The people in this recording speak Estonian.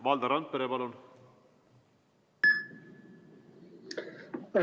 Valdo Randpere, palun!